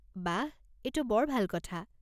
বাহ, এইটো বৰ ভাল কথা।